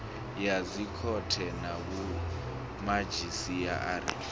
ya dzikhothe na vhomadzhisi ara